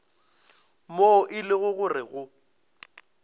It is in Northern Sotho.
moo e lego gore go